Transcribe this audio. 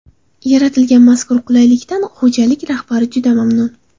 Yaratilgan mazkur qulaylikdan xo‘jalik rahbari juda mamnun.